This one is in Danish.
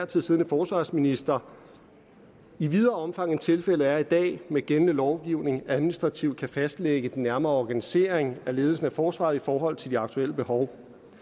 tid siddende forsvarsminister i videre omfang end tilfældet er i dag med den gældende lovgivning administrativt kan fastlægge den nærmere organisering af ledelsen af forsvaret i forhold til de aktuelle behov